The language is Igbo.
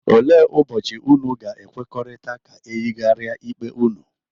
Ole ụbọchi unu ga-ekwekọrịta ka eyigaria ikpe unu?,